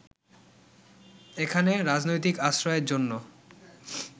এখানে রাজনৈতিক আশ্রয়ের জন্য